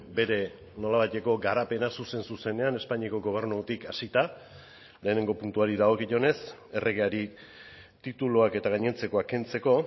bere nolabaiteko garapena zuzen zuzenean espainiako gobernutik hasita lehenengo puntuari dagokionez erregeari tituluak eta gainontzekoa kentzeko